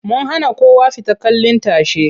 Mun hana kowa fita kallin tashe.